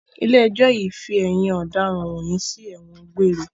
Ilé ẹjọ́ yìí fi ẹ̀yin ọ̀daràn wọ̀nyí sí ẹ̀wọ̀n gbére!